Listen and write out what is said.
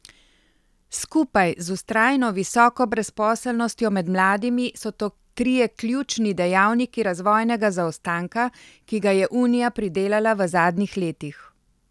Skupaj z vztrajno visoko brezposelnostjo med mladimi so to trije ključni dejavniki razvojnega zaostanka, ki ga je unija pridelala v zadnjih letih.